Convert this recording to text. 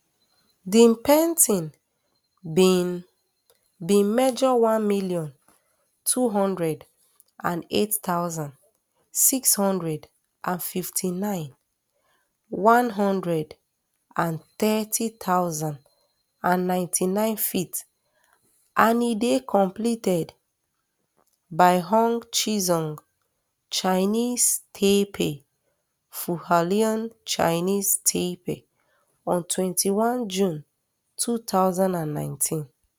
di painting bin bin measure one million, two hundred and eight thousand, six hundred and fifty-nine m one hundred and thirty thousand and ninety-nine ft and e dey completed um by hung chisung chinese taipei for hualien chinese taipei on twenty-one june two thousand and nineteen